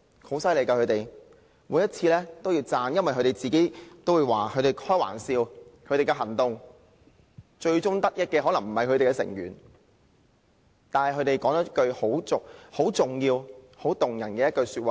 他們很厲害，我每一次都會稱讚他們，他們也經常開玩笑說他們的行動的最終得益者可能不是他們自己，但他們說了一句很重要、很動人的話，便是確立